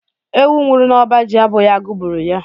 Ewu nwụrụ n'ọba ji abụghị agụrụ gburu ya.